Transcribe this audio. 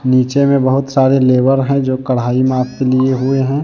नीचे में बहुत सारे लेबर है जो कड़ाई हाथ में लिए हुए है।